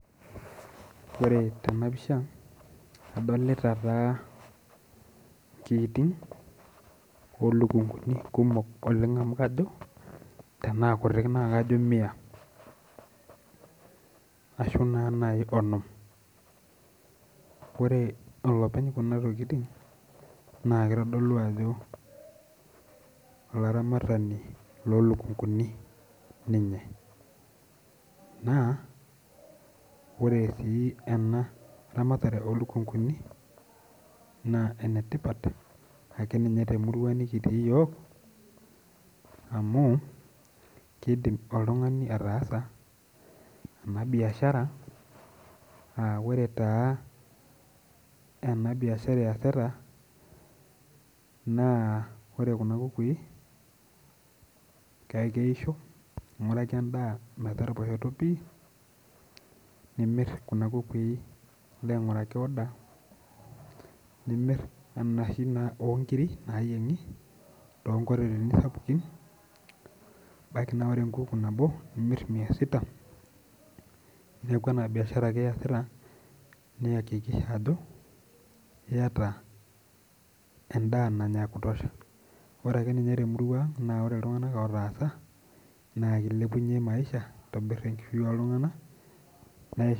Orw tenapisha adolita taa nkiitij olukunguni kumok amu kajo tanaa kutik kajo mia ashubnai onom ore olopeny kuna tokitin na kitodolu ajo olaramatani lolukunguni ninye na ore si enaramatare olukunguni na enetipat akeeyie temurua nikitii yiok amu kidil oltungani ataasa enabiashara amu ore kuna kukuo kiisho ninguraki endaa nilobainguraki oda kuna onkirik to koteleni sapuki nimir mia sita neaku enabiashara ake iasita niakikisha ajo eeta enda ekutosha nilepunye enkishui oltunganak